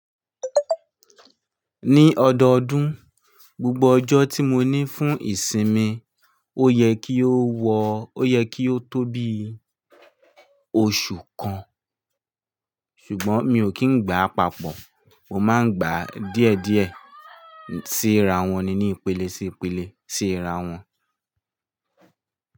Ní ọdọọdún, gbogbo ọjọ́ tí mo ní fún ìsinmi, ó yẹ kí ó wọ, ó yẹ kí ó tó bí oṣù kan. Ṣùgbọ́n mi ò kí ń gba papọ̀. Mo máa ń gbàá díẹ̀díẹ̀ síra wọn ni, ní ìpele sí ìpele, síra wọn.